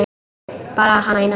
Bara hana eina.